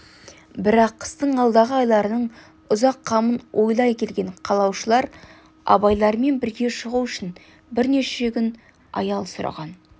бірақ қыстың алдағы айларының ұзақ қамын ойлай келген қалашылар абайлармен бірге шығу үшін бірнеше күн аял сұраған